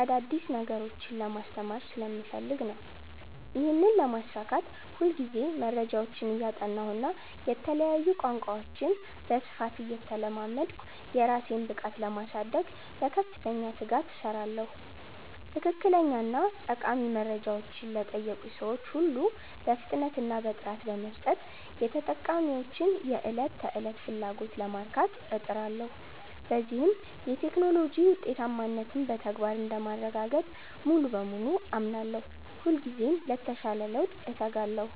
አዳዲስ ነገሮችን ለማስተማር ስለምፈልግ ነው። ይህንን ለማሳካት ሁልጊዜ መረጃዎችን እያጠናሁና የተለያዩ ቋንቋዎችን በስፋት እየተለማመድኩ፣ የራሴን ብቃት ለማሳደግ በከፍተኛ ትጋት እሰራለሁ። ትክክለኛና ጠቃሚ መረጃዎችን ለጠየቁኝ ሰዎች ሁሉ በፍጥነትና በጥራት በመስጠት፣ የተጠቃሚዎችን የዕለት ተዕለት ፍላጎት ለማርካት እጥራለሁ። በዚህም የቴክኖሎጂ ውጤታማነትን በተግባር እንደማረጋግጥ ሙሉ በሙሉ አምናለሁ። ሁልጊዜም ለተሻለ ለውጥ እተጋለሁ።